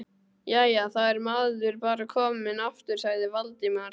Jæja, þá er maður bara kominn aftur sagði Valdimar.